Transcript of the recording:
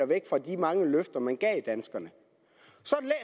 væk fra de mange løfter man gav danskerne